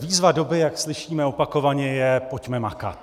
Výzva doby, jak slyšíme opakovaně, je: Pojďme makat!